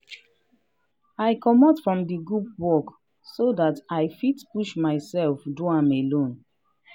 i comot from di group work so dat i fit push myself do am alone.